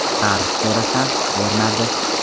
Qarz so‘rasam, bermadi.